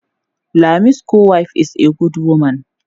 Jummai's co- wife is a good woman.